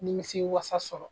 Nimisi wasa sɔrɔ.